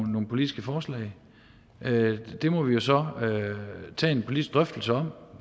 politiske forslag det må vi jo så tage en politisk drøftelse om